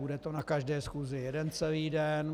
Bude to na každé schůzi jeden celý den?